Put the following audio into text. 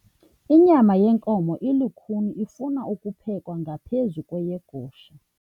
Inyama yenkomo ilukhuni ifuna ukuphekwa ngaphezu kweyegusha.